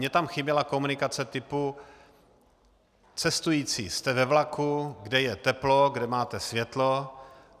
Mně tam chyběla komunikace typu: cestující, jste ve vlaku, kde je teplo, kde máte světlo.